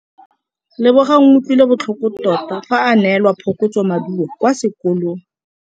Lebogang o utlwile botlhoko tota fa a neelwa phokotsômaduô kwa sekolong.